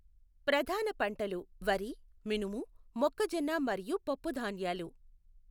ప్రధాన పంటలు వరి, మినుము, మొక్కజొన్న మరియు పప్పుధాన్యాలు.